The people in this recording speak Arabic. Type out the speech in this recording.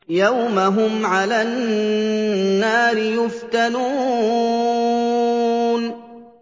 يَوْمَ هُمْ عَلَى النَّارِ يُفْتَنُونَ